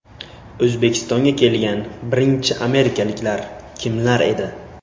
O‘zbekistonga kelgan birinchi amerikaliklar kimlar edi?